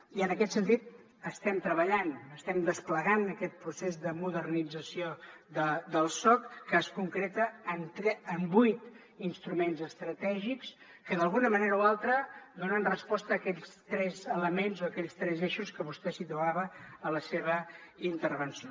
i en aquest sentit estem treballant estem desplegant aquest procés de modernització del soc que es concreta en vuit instruments estratègics que d’alguna manera o altra donen resposta a aquells tres elements o aquells tres eixos que vostè situava a la seva intervenció